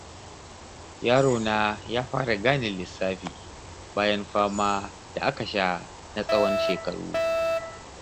Yarona ya fara gane lissafi, bayan fama da aka sha na tsawon shekaru.